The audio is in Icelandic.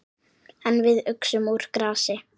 En við uxum úr grasi.